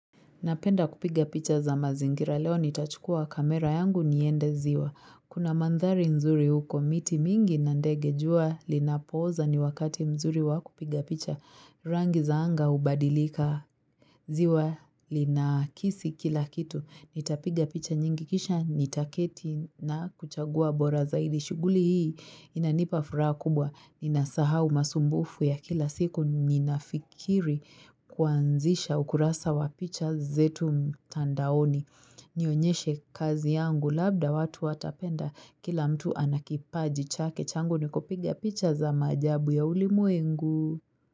Napenda kupiga picha za mazingira leo nitachukua kamera yangu niende ziwa. Kuna mandhari nzuri huko, miti mingi na ndege jua linapooza ni wakati mzuri wa kupiga picha. Rangi za anga hubadilika. Ziwa linakisi kila kitu. Nitapiga picha nyingi kisha nitaketi na kuchagua bora zaidi. Shughuli hii inanipa furaha kubwa ninasahau usumbufu ya kila siku ninafikiri kuanzisha ukurasa wa picha zetu mtandaoni. Nionyeshe kazi yangu labda watu watapenda. Kila mtu anakipaji chake. Changu ni kupiga picha za maajabu ya ulimwengu.